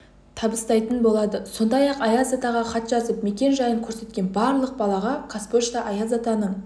табыстайтын болады сондай-ақ аяз атаға хат жазып мекен жайын көрсеткен барлық балаға қазпошта аяз атаның